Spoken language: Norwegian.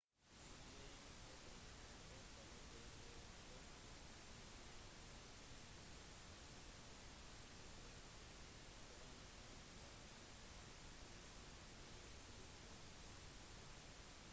de skrevne ordene er ofte lettere å forstå enn de som snakkes spesielt adresser som ofte er vanskelig å uttale korrekt